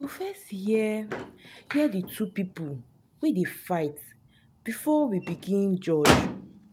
we go first hear hear di two people wey dey fight before we begin judge.